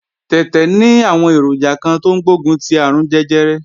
Tẹ̀tẹ̀ ní àwọn èròjà kan tó ń gbógun ti àrùn jẹjẹrẹ